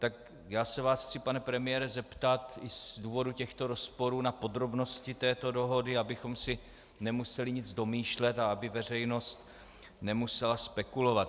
Tak já se vás chci, pane premiére, zeptat i z důvodu těchto rozporů na podrobnosti této dohody, abychom si nemuseli nic domýšlet a aby veřejnost nemusela spekulovat.